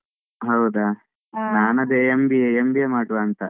ಹೌದಾ ಅದೇ MBA~ MBA ಮಾಡುವ ಅಂತ.